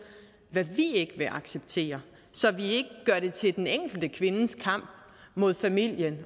hvad vi ikke vil acceptere så vi ikke gør det til den enkelte kvindes kamp mod familien